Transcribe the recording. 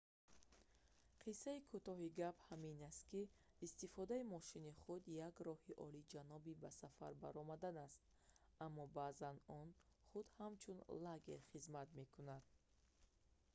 қиссаи кӯтоҳи гап ҳамин ки истифодаи мошини худ як роҳи олиҷаноби ба сафар баромадан аст аммо баъзан он худ ҳамчун лагер хизмат мекунад